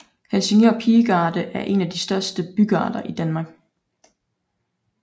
Helsingør Pigegarde er en af de største bygarder i Danmark